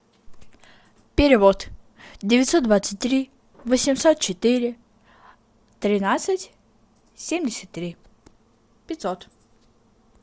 перевод девятьсот двадцать три восемьсот четыре тринадцать семьдесят три пятьсот